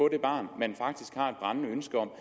det barn man faktisk har et brændende ønske om